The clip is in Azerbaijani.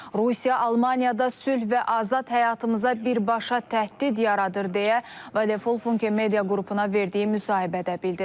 Rusiya Almaniyada sülh və azad həyatımıza birbaşa təhdid yaradır deyə Vadefol Funke Media qrupuna verdiyi müsahibədə bildirib.